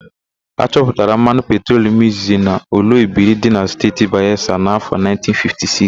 A chọpụtara mmanụ petrolum izizi n'Oloibiri dị na Steeti Bayelsa n'áfọ̀ 1956.